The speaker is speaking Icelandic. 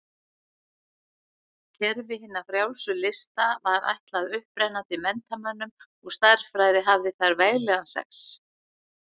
Kerfi hinna frjálsu lista var ætlað upprennandi menntamönnum og stærðfræði hafði þar veglegan sess.